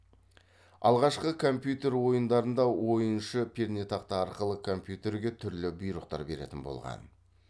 алғашқы компьютер ойындарында ойыншы пернетақта арқылы компьютерге түрлі бұйрықтар беретін болған